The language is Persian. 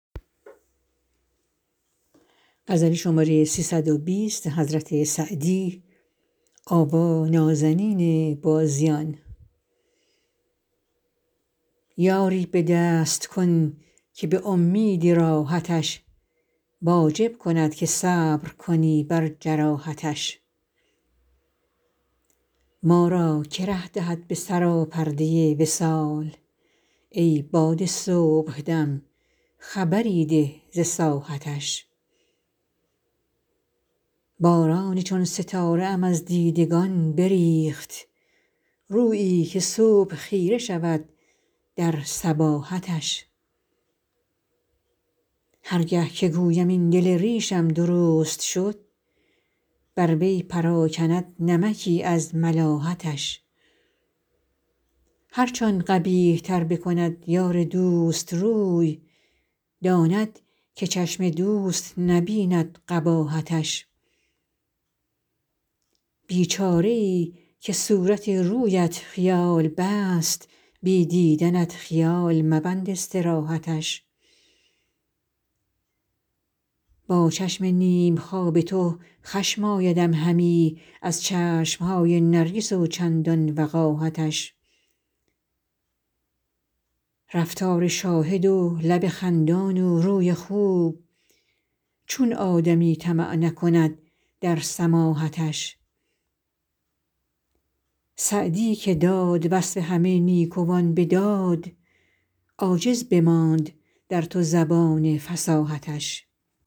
یاری به دست کن که به امید راحتش واجب کند که صبر کنی بر جراحتش ما را که ره دهد به سراپرده وصال ای باد صبح دم خبری ده ز ساحتش باران چون ستاره ام از دیدگان بریخت رویی که صبح خیره شود در صباحتش هر گه که گویم این دل ریشم درست شد بر وی پراکند نمکی از ملاحتش هرچ آن قبیح تر بکند یار دوست روی داند که چشم دوست نبیند قباحتش بیچاره ای که صورت رویت خیال بست بی دیدنت خیال مبند استراحتش با چشم نیم خواب تو خشم آیدم همی از چشم های نرگس و چندان وقاحتش رفتار شاهد و لب خندان و روی خوب چون آدمی طمع نکند در سماحتش سعدی که داد وصف همه نیکوان به داد عاجز بماند در تو زبان فصاحتش